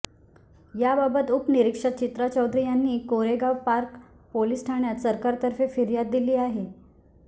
याबाबत उपनिरीक्षक चित्रा चौधरी यांनी कोरेगांव पार्क पोलीस ठाण्यात सरकारतर्फे फिर्याद दिली आहे